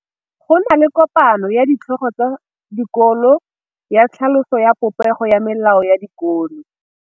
Go na le kopanô ya ditlhogo tsa dikolo ya tlhaloso ya popêgô ya melao ya dikolo.